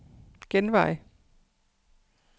genvej